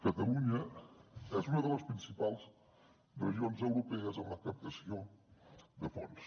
catalunya és una de les principals regions europees en la captació de fons